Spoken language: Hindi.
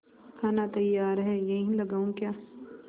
खाना तैयार है यहीं लगाऊँ क्या